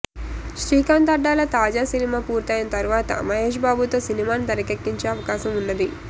శ్రీకాంత్ అడ్డాల తాజా సినిమా పూర్తయిన తర్వాత మహేష్ బాబుతో సినిమాని తెరకెక్కించే అవకాశం ఉన్నది